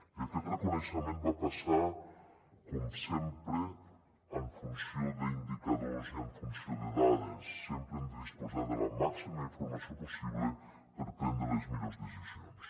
i aquest reconeixement va passar com sempre en funció d’indicadors i en funció de dades sempre hem de disposar de la màxima informació possible per prendre les millors decisions